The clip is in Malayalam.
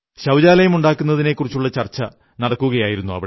ശൌചാലയം ഉണ്ടാക്കുന്നതിനെക്കുറിച്ചുള്ള ചർച്ച നടക്കുകയായിരുന്നു